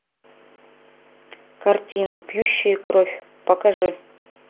картина пьющие кровь покажи